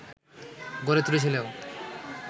গড়ে তুলেছিল